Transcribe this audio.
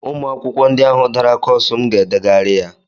Ụmụ akwụkwọ ndị ahụ dara kọsu m ga-edeghari ya